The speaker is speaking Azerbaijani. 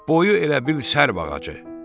Boyu elə bil sərv ağacı.